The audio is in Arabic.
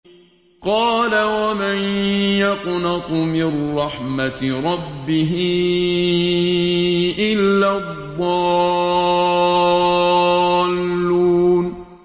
قَالَ وَمَن يَقْنَطُ مِن رَّحْمَةِ رَبِّهِ إِلَّا الضَّالُّونَ